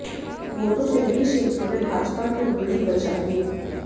वो तो शहरी क्षेत्रों ने भाजपा की उम्मीद बचा ली